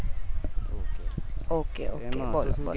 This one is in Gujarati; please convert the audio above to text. okay બોલો બોલો